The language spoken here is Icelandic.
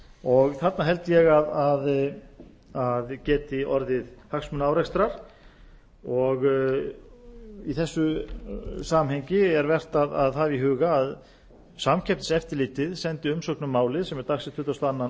og þarna held ég að geti orðið hagsmunaárekstra og í þessu samhengi er vert að hafa í huga að samkeppniseftirlitið sendi umsögn um málið sem er dagsett tuttugasta og annan